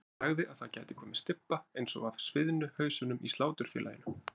Hann sagði að það gæti komið stybba eins og af sviðnu hausunum í Sláturfélaginu.